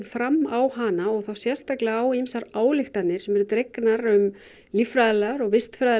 fram á hana og þá sérstaklega á ýmsar ályktanir sem eru dregnar um líffræðilegar og